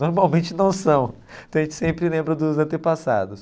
Normalmente não são, então a gente sempre lembra dos antepassados.